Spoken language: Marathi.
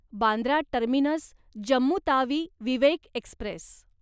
Bandra terminus Jammu Tawi Vivek Express